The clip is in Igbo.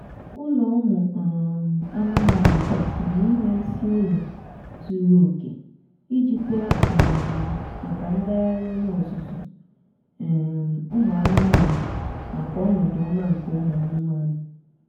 ụlọ ụmụ um anụmaanụ kwesịrị inwe isi ụlọ zuru oke iji kwe um maka ngagharị onye ọzụzụ um ụmụ anụmaanụ nakw ọnọdụ ọma nke ụmụ anụmanụ